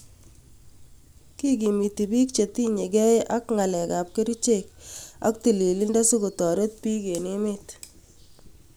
Kigimiti piik chetiinyegei ak ngalekap kericheek ak tililindo sikotoret piik en emeet